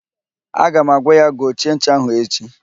Aga m agwa ya gochie ncha ahụ echi!